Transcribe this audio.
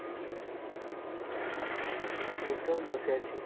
এইতো বসে আছি ।